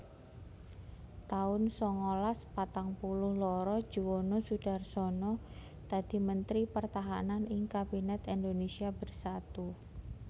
taun sangalas patang puluh loro Juwono Sudarsono dadi Mentri Pertahanan ing Kabinet Indonésia Bersatu